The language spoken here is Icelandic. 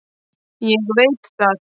Ég veit það.